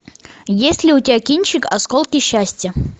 есть ли у тебя кинчик осколки счастья